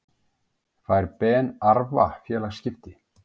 Fær Ben Arfa félagaskipti?